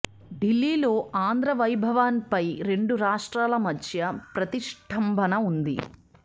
ఢిల్లీలో ఆంధ్రా భవన్పై రెండు రాష్ట్రాల మధ్య ప్రతిష్టంభన ఉంది